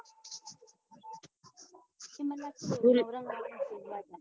મતલબ